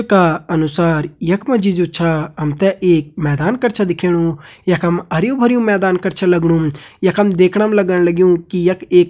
चित्र का अनुसार यख मा जी जु छा हम ते एक मैदान कर छा दिखेणु यखम हरयूं भरयूं मैदान कर छ लगणु यखम देखणा मा लगण लग्युं की यखम एक --